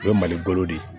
O ye mali bolo de ye